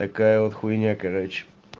такая вот хуйня короче